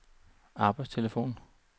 arbejdstelefon